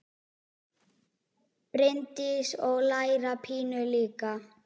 Bryndís: Og læra pínu líka?